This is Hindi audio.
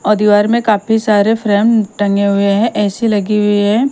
और दीवार में काफी सारे फ्रेम टंगे हुए है ए_सी लगी हुई है।